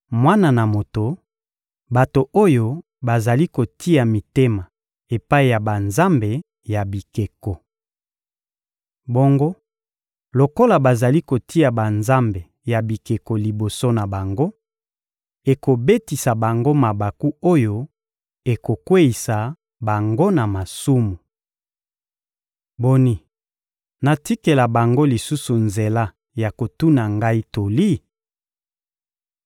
«Mwana na moto, bato oyo bazali kotia mitema epai ya banzambe ya bikeko. Bongo lokola bazali kotia banzambe ya bikeko liboso na bango, ekobetisa bango mabaku oyo ekokweyisa bango na masumu. Boni, natikela bango lisusu nzela ya kotuna Ngai toli?